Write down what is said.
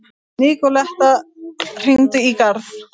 Nikoletta, hringdu í Garð.